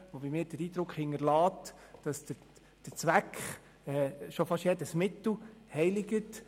Sie hinterlässt bei mir den Eindruck, dass der Zweck schon fast jedes Mittel heiligt.